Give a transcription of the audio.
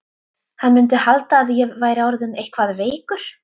Hann mundi halda að ég væri orðinn eitthvað veikur.